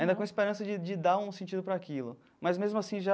Ainda com esperança de de dar um sentido para aquilo, mas mesmo assim já...